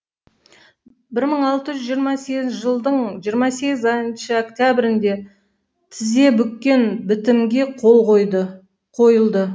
бір мың алты жүз жиырма сегізінші жылдың жиырма сегізінщші октябрьінде тізе бүккен бітімге қол қойылды